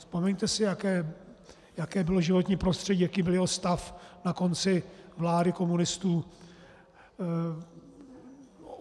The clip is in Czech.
Vzpomeňte si, jaké bylo životní prostředí, jaký byl jeho stav na konci vlády komunistů.